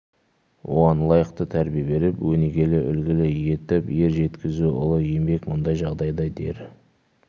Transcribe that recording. оған лайықты тәрбие беріп өнегелі үлгілі етіп ер жеткізу ұлы еңбек мұндай жағдайда дер